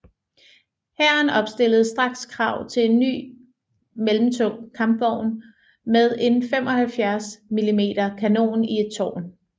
Hæren opstillede straks krav til en ny mellemtung kampvogn med en 75 mm kanon i et tårn